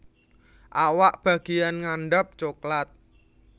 Awak bageyan ngandhap coklat